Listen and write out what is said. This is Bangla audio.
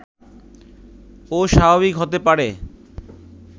ও স্বাভাবিক হতে পারে